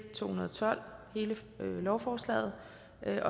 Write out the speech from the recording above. to hundrede og tolv hele lovforslaget